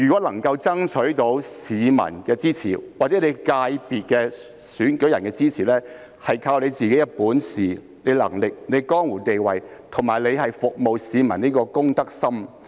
能夠爭取市民或所屬界別的選舉人的支持，是靠自己的本事、能力、江湖地位，以及服務市民的公德心。